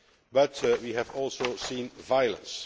But we have also seen violence.